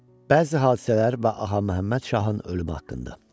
Bəzi hadisələr və Ağa Məhəmməd Şahın ölümü haqqında.